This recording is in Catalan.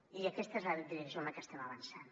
i aquesta és la direcció en la que estem avançant